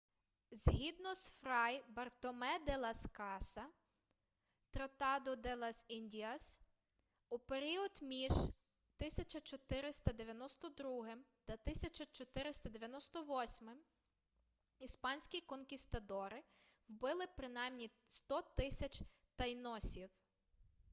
згідно з фрай бартоме де лас каса тратадо де лас індіас у період між 1492 та 1498 іспанські конкістадори вбили принаймі 100 000 тайносів